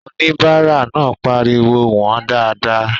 Oníbàárà náà pariwo "wọ̀ọ́n dáadáa!"